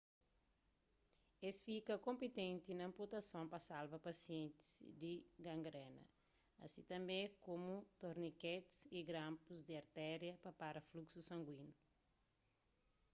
es fika konpitenti na anputason pa salva pasientis di gangrena asi tanbê komu torniketis y granpus di arteria pa pará fluxu sanguíniu